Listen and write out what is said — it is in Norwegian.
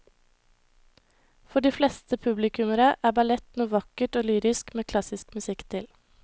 For de fleste publikummere er ballett noe vakkert og lyrisk med klassisk musikk til.